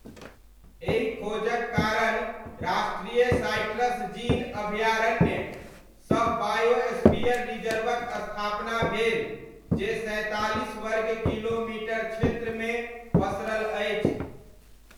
एहि खोजक कारण राष्ट्रीय साइट्रस जीन अभयारण्य सह बायोस्फीयर रिजर्वक स्थापना भेल जे सैंतालीस वर्ग किलोमीटर क्षेत्रमे पसरल अछि।